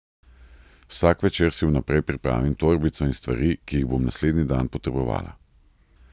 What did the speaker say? Vsak večer si vnaprej pripravim torbico in stvari, ki jih bom naslednji dan potrebovala.